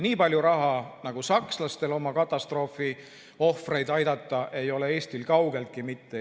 Nii palju raha, nagu on sakslastel oma katastroofiohvrite aitamiseks, ei ole Eestil kaugeltki mitte.